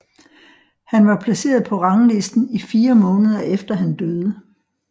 Han var placeret på ranglisten i 4 måneder efter han døde